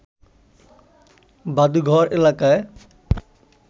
ভাদুঘর এলাকায়